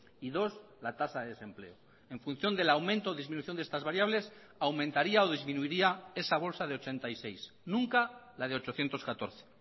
y dos la tasa de desempleo en función del aumento o disminución de estas variables aumentaría o disminuiría esa bolsa de ochenta y seis nunca la de ochocientos catorce